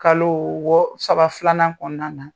Kalo wɔ saba filanan kɔnɔna na